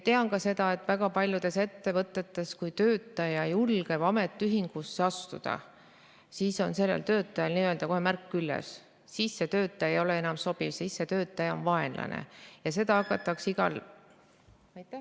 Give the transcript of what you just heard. Tean ka seda, mis toimub väga paljudes ettevõtetes, et kui töötaja julgeb ametiühingusse astuda, siis on tal kohe märk küljes, siis ta ei ole enam sobiv, siis ta on vaenlane ja seda hakatakse igal ...